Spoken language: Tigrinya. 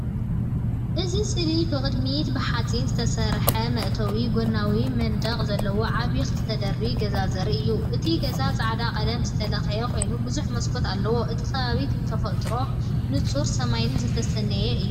እዚ ስእሊ ብቕድሚት ብሓጺን ዝተሰርሐ መእተዊን ጎናዊ መንደቕን ዘለዎ ዓቢ ክልተ ደርቢ ገዛ ዘርኢ እዩ። እቲ ገዛ ጻዕዳ ቀለም ዝተለኽየ ኮይኑ ብዙሕ መስኮት ኣለዎ። እቲ ከባቢ ብተፈጥሮን ንጹር ሰማይን ዝተሰነየ እዩ።